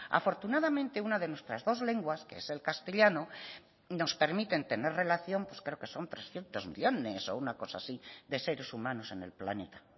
afortunadamente una de nuestra dos lenguas que es el castellano nos permite tener relación pues creo que son trescientos millónes o una cosa así de seres humanos en el planeta